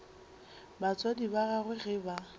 batswadi ba gagwe ge ba